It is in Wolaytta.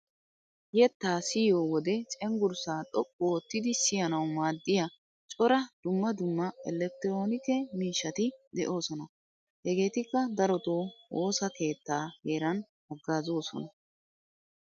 Yettaa siyiyo wode cenggurssaa xoqqu oottidi siyanawu maaddiya cora dumma dumma ellekkitiroonike miishshati de'oosona. Hegeetikka darotoo woosa keettaa heeran haggaazoosona.